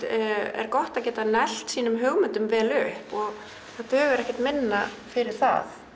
er gott að geta neglt sínar hugmyndir vel upp og það dugar ekkert minna fyrir það